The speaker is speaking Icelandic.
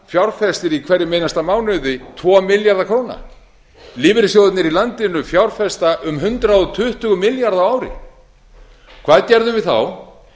fjárfestir í hverjum einasta mánuði tvo milljarða króna lífeyrissjóðirnir í landinu fjárfesta um hundrað tuttugu milljarða á ári hvað gerðum við þá